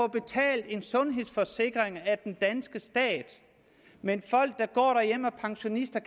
betalt en sundhedsforsikring af den danske stat mens pensionister